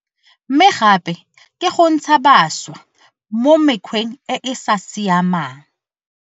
Mme gape ke go ntsha bašwa mo mekgweng e e sa siamang.